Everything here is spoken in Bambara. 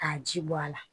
K'a ji bɔ a la